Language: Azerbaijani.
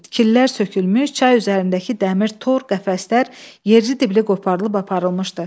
Tikillər sökülmüş, çay üzərindəki dəmir tor qəfəslər yerli dibli qoparıb aparılmışdı.